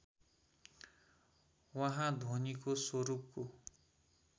उहाँ ध्वनीको स्वरूपको